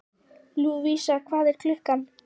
Lúvísa, hvað er klukkan?